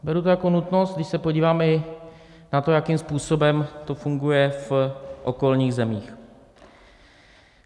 Beru to jako nutnost, když se podívám i na to, jakým způsobem to funguje v okolních zemích.